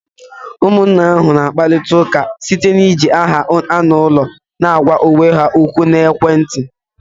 Ụmụnne ahụ na-akpari ụka site na-iji aha anụ ụlọ na-agwa onwe ha ókwú na ekwentị.